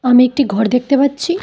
আমি একটি ঘর দেখতে পাচ্ছি।